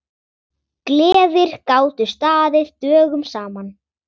Gleðir gátu staðið dögum saman.